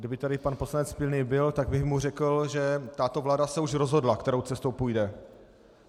Kdyby tady pan poslanec Pilný byl, tak bych mu řekl, že tato vláda se už rozhodla, kterou cestou půjde.